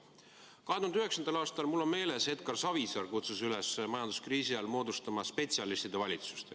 Mul on meeles, et 2009. aastal kutsus Edgar Savisaar üles majanduskriisi ajal moodustama spetsialistide valitsust.